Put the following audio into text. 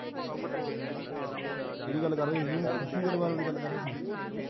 ਕਿਹਦੀ ਗੱਲ ਕਰ ਹੋ ਤੁਹੀ ਖੁਸ਼ੀ ਗਰੇਵਾਲ ਦੀ ਗੱਲ ਕਰ ਰਹੇ ਤੁਹੀ